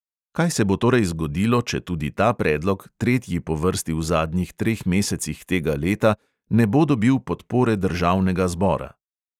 Kaj se bo torej zgodilo, če tudi ta predlog, tretji po vrsti v zadnjih treh mesecih tega leta, ne bo dobil podpore državnega zbora?